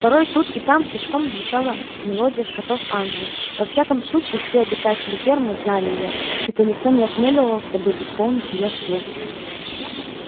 порой тут и там тишком звучала мелодия скотов англии во всяком случае все обитатели фермы знали её хотя никто не осмелился бы исполнить её вслух